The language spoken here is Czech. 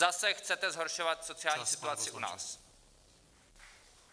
Zase chcete zhoršovat sociální situaci u nás.